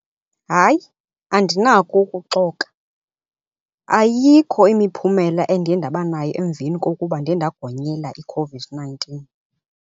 Hayi andinako ukuxoka, ayikho imiphumela endiye ndaba nayo emveni kokuba ndiye ndagonyela iCOVID-nineteen.